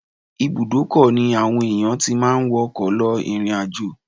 Ibùdókọ̀ ni àwọn ènìyàn ti máa ń wọ ọkọ̀ lọ ìrìn-àjò